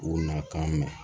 U na ka mɛn